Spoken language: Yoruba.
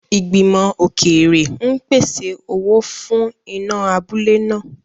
Ìgbìmọ̀ òkèèrè ń pèsè owó fún iná abúlé náà.